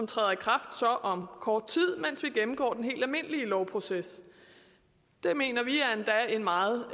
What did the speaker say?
træder i kraft om kort tid mens vi gennemgår den helt almindelige lovproces det mener vi er en meget